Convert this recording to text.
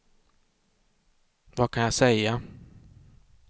vad kan jag säga